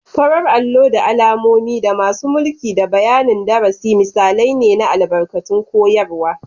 Farar allo da alamomi, da masu mulki da bayanin darasi, misalai ne na albarkatun koyarwa.